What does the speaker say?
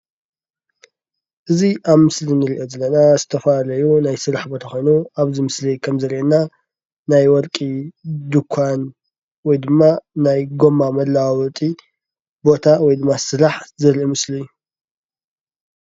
እዚይ ኣብ ምስሊ እንሪኦ ዘለና ዝተፈላለዩ ናይ ስራሕ ቦታ ኾይኑ ኣብዚ ምስሊ ኸምዝረአየና ናይ ወርቂ ድንኳን ወይ ድማ ናይ ጎማ መለዋወጢ ቦታ ወይድማ ስራሕ ዘርኢ ምስሊ እዩ።